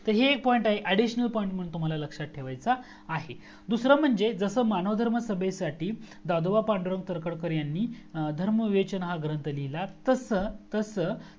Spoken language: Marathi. तर हे एक पॉइंट आहे additional point म्हणून लक्षात ठेवायचा आहे दूसरा म्हणजे जसा मानव धर्म सभेसाठी दादोबा पांडुरंग तरखडकर यांनी धर्म विमोचन ग्रंथ लिहिला तस तसं